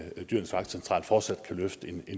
dyrenes vagtcentral fortsat kan løfte en